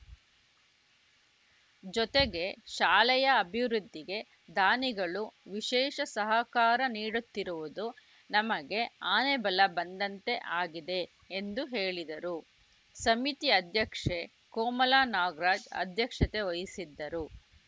ಜೊತೆಗೆ ಶಾಲೆಯ ಅಭಿವೃದ್ಧಿಗೆ ದಾನಿಗಳು ವಿಶೇಷ ಸಹಕಾರ ನೀಡುತ್ತಿರುವುದು ನಮಗೆ ಆನೆಬಲ ಬಂದಂತೆ ಆಗಿದೆ ಎಂದು ಹೇಳಿದರು ಸಮಿತಿ ಅಧ್ಯಕ್ಷೆ ಕೋಮಲ ನಾಗರಾಜ್‌ ಅಧ್ಯಕ್ಷತೆ ವಹಿಸಿದ್ದರು